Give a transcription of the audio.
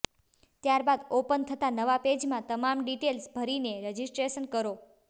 ત્યારબાદ ઓપન થતાં નવાં પેજમાં તમામ ડિટેઈલ્સ ભરીને રજિસ્ટ્રેશન કરો